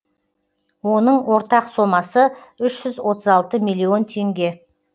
оның ортақ сомасы үш жүз отыз алты миллион теңге